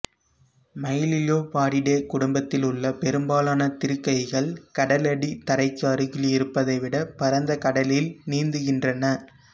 Myliobatidae குடும்பத்தில் உள்ள பெரும்பாலான திருக்கைகள் கடலடி தரைக்கு அருகில் இருப்பதை விட பரந்த கடலில் நீந்துகின்றன